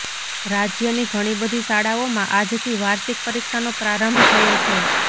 રાજયની ઘણીબધી શાળાઓમાં આજથી વાર્ષિક પરીક્ષાનો પ્રારંભ થયો છે